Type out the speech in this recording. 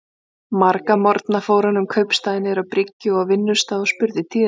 Marga morgna fór hann um kaupstaðinn, niður á bryggju og á vinnustaði, og spurði tíðinda.